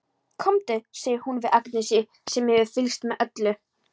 Komdu, segir hún við Agnesi sem hefur fylgst með öllu.